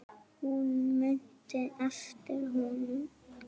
Hún mundi eftir honum.